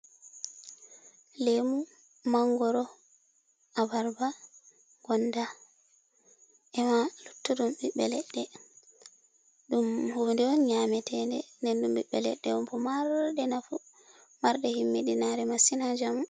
Lemu, mangoro, abarba gonda, ema luttuɗum ɓiɓbe leɗɗe, ɗum hunde on nyametende den ɗum ɓiɓbe leɗɗe on bo maroɗe nafu marɗe himmidinare massin ha njamu.